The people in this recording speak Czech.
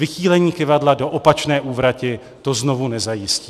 Vychýlení kyvadla do opačné úvrati to znovu nezajistí.